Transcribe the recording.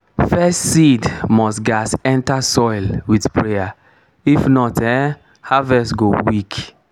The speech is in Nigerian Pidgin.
first seed must gats enter soil with prayer; if not ehnn harvest go weak.